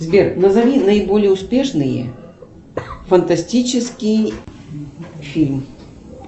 сбер назови наиболее успешные фантастический фильм